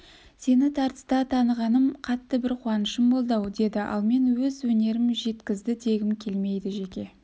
сені тартыста танығаным қатты бір қуанышым болды-ау деді ал мен өз өнерім жеткізді дегім келмейді жеке